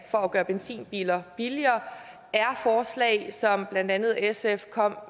for at gøre benzinbiler billigere er forslag som blandt andet sf kom